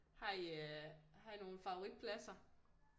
Har I øh har I nogle favoritpladser